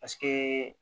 Paseke